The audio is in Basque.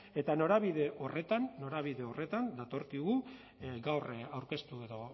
eta norabide horretan norabide horretan datorkigu gaur aurkeztu edo